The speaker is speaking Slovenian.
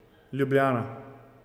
Ljubljana.